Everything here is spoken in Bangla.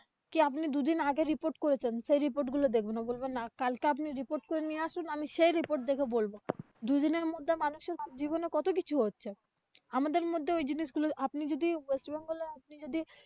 কি আপনি দুদিন আগে report করেছেন গুলো দেখবে না। কালকে আপনি report করে নিয়ে আসেন আমি সেই report দেখে বলবো। দুদিনের মধ্যে মানুষের জীবনে কতকিছু হচ্ছে। আমাদের মধ্যে ওই জিনিশগুলো আপনি যদি west bengal এ আপনি যদি,